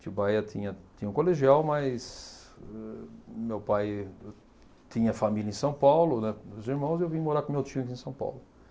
Atibaia tinha tinha um colegial, mas eh meu pai tinha família em São Paulo, né, os irmãos, e eu vim morar com meu tio aqui em São Paulo.